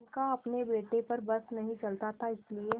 उनका अपने बेटे पर बस नहीं चलता था इसीलिए